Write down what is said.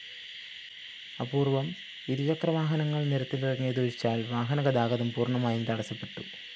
അപൂര്‍വ്വം ഇരുചക്രവാഹനങ്ങള്‍ നിരത്തിലിറങ്ങിയതൊഴിച്ചാല്‍ വാഹനഗതാഗതം പൂര്‍ണ്ണമായും തടസ്സപ്പെട്ടു